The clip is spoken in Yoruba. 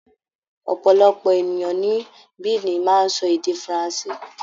Ọ̀pọ̀lọpọ̀ ènìyàn ní Benin máa ń sọ èdè faransé.